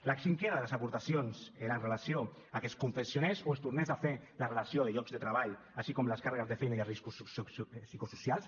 la cinquena de les aportacions era amb relació a que es confeccionés o es tornés a fer la relació de llocs de treball així com les càrregues de feina i els riscos psicosocials